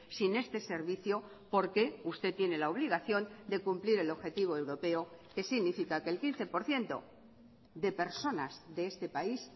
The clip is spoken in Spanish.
sin este servicio porque usted tiene la obligación de cumplir el objetivo europeo que significa que el quince por ciento de personas de este país